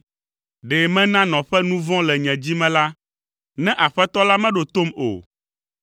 Ɖe mena nɔƒe nu vɔ̃ le nye dzi me la, ne Aƒetɔ la meɖo tom o,